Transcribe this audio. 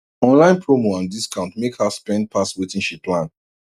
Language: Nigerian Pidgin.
online promo and discount make her spend pass wetin she plan